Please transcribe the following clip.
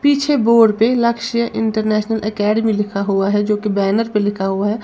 पीछे बोर्ड पे Lakshya international academy लिखा हुआ है जो कि बैनर पे लिखा हुआ है।